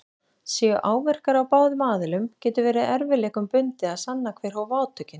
Séu áverkar á báðum aðilum getur verið erfiðleikum bundið að sanna hver hóf átökin.